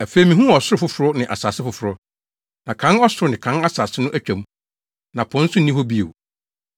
Afei mihuu ɔsoro foforo ne asase foforo, na kan ɔsoro ne kan asase no atwa mu, na po nso nni hɔ bio.